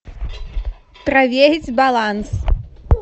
проверить баланс